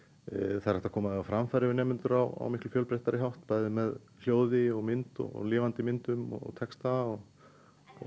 það er hægt að koma því á framfæri við nemendur á miklu fjölbreyttari hátt bæði með hljóði mynd lifandi myndum texta og